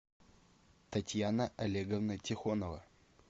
татьяна олеговна тихонова